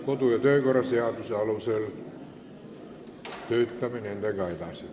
Töötame nendega edasi kodu- ja töökorra seaduse alusel.